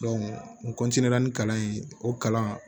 n ni kalan in o kalan